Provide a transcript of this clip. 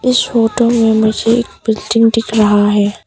इस फोटो में मुझे एक बिल्डिंग दिख रहा है।